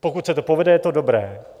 Pokud se to povede, je to dobré.